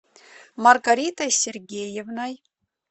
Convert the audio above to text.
маргаритой сергеевной